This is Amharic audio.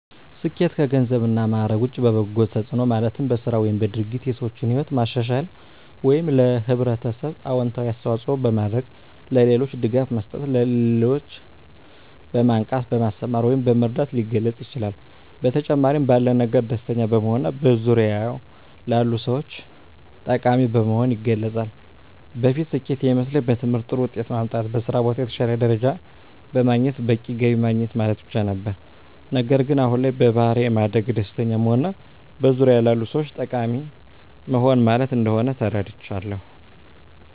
ስኬት ከገንዘብ እና ማዕረግ ውጭ በበጎ ተጽዕኖ ማለትም በሥራ ወይም በድርጊት የሰዎችን ሕይወት ማሻሻል ወይም ለኅብረተሰብ አዎንታዊ አስተዋፅዖ በማድረግ፣ ለሌሎች ድጋፍ መስጠት፣ ሌሎችን በማንቃት፣ በማስተማር ወይም በመርዳት ሊገለፅ ይችላል። በተጨማሪም ባለን ነገር ደስተኛ በመሆንና በዙሪያዎ ላሉ ሰዎች ጠቃሚ በመሆን ይገለፃል። በፊት ስኬት የሚመስለኝ በትምህርት ጥሩ ውጤት ማምጣት፣ በስራ ቦታ የተሻለ ደረጃ በማግኘት በቂ ገቢ ማግኘት ማለት ብቻ ነበር። ነገር ግን አሁን ላይ በባሕሪ ማደግ፣ ደስተኛ መሆንና በዙሪያዎ ላሉ ሰዎች ጠቃሚ መሆን ማለት እንደሆን ተረድቻለሁ።